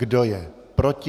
Kdo je proti?